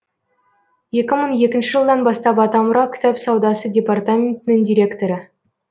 екі мың екінші жылдан бастап атамұра кітап саудасы департаментінің директоры